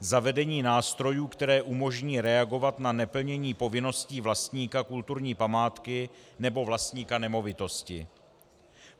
Zavedení nástrojů, které umožní reagovat na neplnění povinností vlastníka kulturní památky nebo vlastníka nemovitosti.